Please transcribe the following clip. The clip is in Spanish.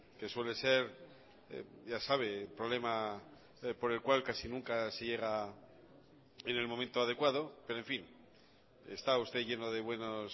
que suele ser ya sabe problema por el cual casi nunca se llega en el momento adecuado pero en fin está usted lleno de buenos